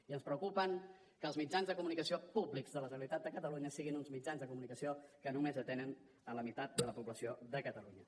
i ens preocupa que els mitjans de comunicació públics de la generalitat de catalunya siguin uns mitjans de comunicació que només atenen la meitat de la població de catalunya